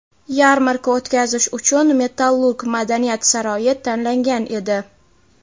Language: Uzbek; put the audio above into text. Yarmarka o‘tkazish uchun "Metallurg" madaniyat saroyi tanlangan edi.